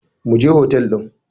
Mu je hotel ɗin.